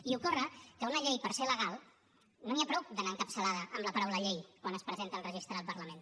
i ocorre que una llei per ser legal no n’hi ha prou que vagi encapçalada amb la paraula llei quan es presenta al registre del parlament